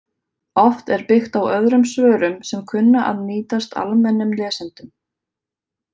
Oft er byggt á öðrum svörum sem kunna að nýtast almennum lesendum